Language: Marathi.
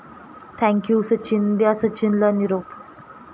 थँक यू सचिन..द्या सचिनला निरोप